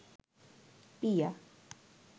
পিয়া